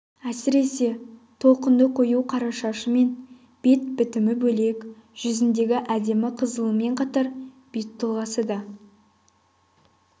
әсіресе толқынды қою қара шашы мен бет бітімі бөлек жүзіндегі әдемі қызылымен қатар бет тұлғасы да